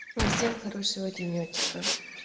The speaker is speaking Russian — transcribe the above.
всем хорошего денёчка